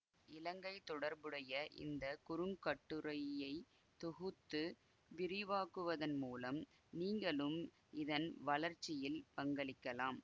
இலங்கை தொடர்புடைய இந்த குறுங்கட்டுரையை தொகுத்து விரிவாக்குவதன் மூலம் நீங்களும் இதன் வளர்ச்சியில் பங்களிக்கலாம்